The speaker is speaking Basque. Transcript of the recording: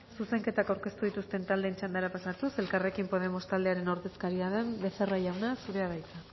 zuzenketak aurkeztu dituzten taldeen txandara pasatuz elkarrekin podemos taldearen ordezkaria den becerra jauna zurea da hitza